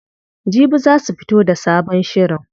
Jibi za su fito da sabon shirin.